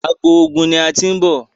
àgbò oògùn ní a tin nbọ